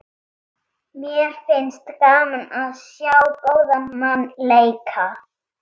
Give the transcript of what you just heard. Mér finnst gaman að sjá góðan mann leika.